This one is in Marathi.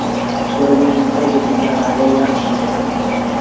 सर्व मंद गतीच्या गाड्या या स्थानावर थांबतात.